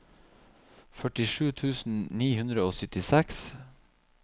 førtisju tusen ni hundre og syttiseks